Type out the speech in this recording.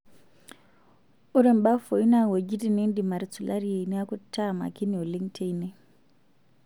Ore mbafui naa wuejitin nindim atusulariyie neeku taa makini oleng' teine.